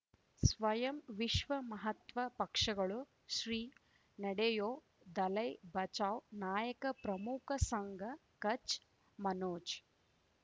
ಸ್ವಯಂ ವಿಶ್ವ ಮಹಾತ್ಮ ಪಕ್ಷಗಳು ಶ್ರೀ ನಡೆಯೂ ದಲೈ ಬಚೌ ನಾಯಕ ಪ್ರಮುಖ ಸಂಘ ಕಚ್ ಮನೋಜ್